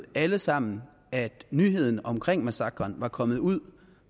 alle sammen at nyheden om massakren var kommet ud